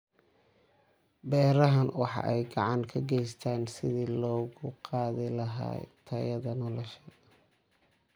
Beerahani waxa ay gacan ka geystaan ??sidii kor loogu qaadi lahaa tayada nolosha.